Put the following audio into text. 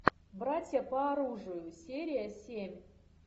братья по оружию серия семь